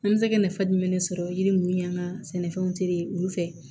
An bɛ se ka nafa jumɛn de sɔrɔ yiri minnu ni y'an ka sɛnɛfɛnw teri ye olu fɛ